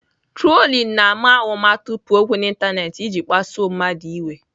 Trolling na-ama ụma tụpụ okwu n'ịntanetị iji kpasuo mmadụ iwe.